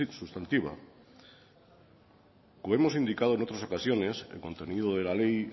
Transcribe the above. sustantiva como hemos indicado en otras ocasiones el contenido de la ley